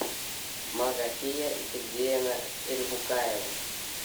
магафия сергеевна эльбукаева